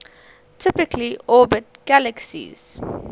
typically orbit galaxies